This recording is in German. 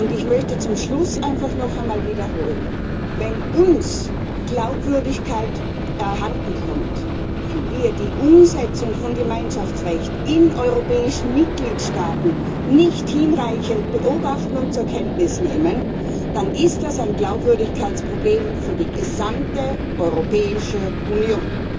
Ich möchte zum Schluss noch einmal wiederholen Wenn uns die Glaubwürdigkeit abhanden kommt, weil wir die Umsetzung von Gemeinschaftsrecht in europäischen Mitgliedstaaten nicht hinreichend beobachten und zur Kenntnis nehmen, dann ist das ein Glaubwürdigkeitsproblem für die gesamte Europäische Union.